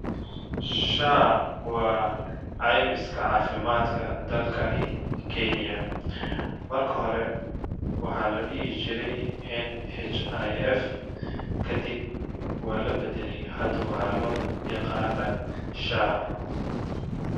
SHA waa ceymiska caafimaadka dalkani kenya ,marka hore waxaa la dhihi jiray NHIF kadib waa la baddaley hada waxaa loo yaqanaa ,SHA.